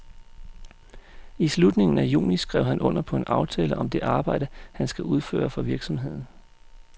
I slutningen af juni skrev han under på en aftale om det arbejde, han skal udføre for virksomheden.